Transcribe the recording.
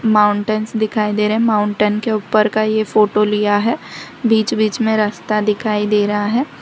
Mountains दिखाई दे रहे हैं माउंटेन के ऊपर का ये फोटो लिया है बीच बीच में रस्ता दिखाई दे रहा है।